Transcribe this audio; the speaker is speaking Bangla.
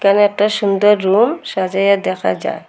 এখানে একটা সুন্দর রুম সাজাইয়া দেখা যায়।